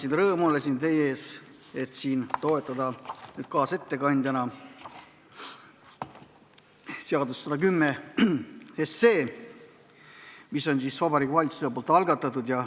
Mul on rõõm olla teie ees, et toetada kaasettekandjana seaduseelnõu 110, mis on Vabariigi Valitsuse algatatud.